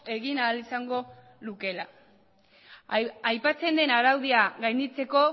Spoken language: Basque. egin ahal izango lukeela aipatzen den araudia gainditzeko